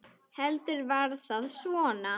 Heldur var það svona!